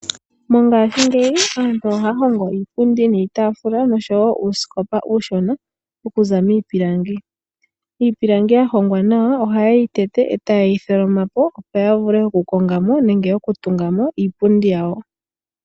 Mongashingeyi aantu ohaya hongo iipundi niitaafula nosho wo uusikopa uushona okuza miipilangi. Iipilangi ya hongwa nawa ohaye yi tete, e taye yi tholoma po opo ya vule okukonga mo nenge okutunga mo iipundi yawo.